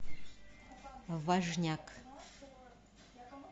важняк